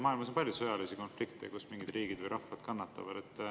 Maailmas on palju sõjalisi konflikte, kus mingid riigid või rahvad kannatavad.